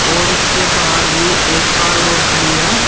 और इसके बाहर भी एक कार और खड़ी है।